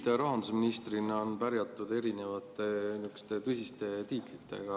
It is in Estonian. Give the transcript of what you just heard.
Teid rahandusministrina on pärjatud erinevate tõsiste tiitlitega.